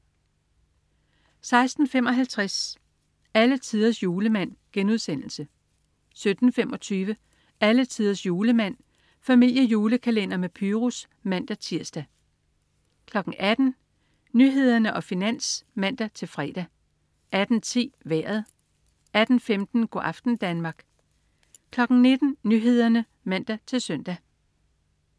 16.55 Alletiders Julemand* 17.25 Alletiders Julemand. Familiejulekalender med Pyrus (man-tirs) 18.00 Nyhederne og Finans (man-fre) 18.10 Vejret 18.15 Go' aften Danmark 19.00 Nyhederne (man-søn)